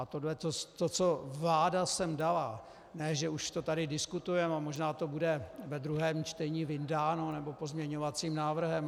A to, co vláda sem dala, ne že už to tady diskutujeme, a možná to bude ve druhém čtení vyndáno nebo pozměňovacím návrhem.